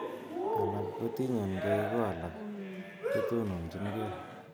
Alak kotiyen gei ko alak kotononchin gei.